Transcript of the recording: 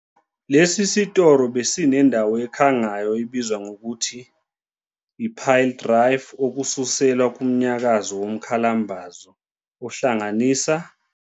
Lesi sitolo besinendawo ekhangayo ebizwa ngokuthi "i-Pile Driver", okususelwa kumnyakazo womkhalambazo, ohlanganisa.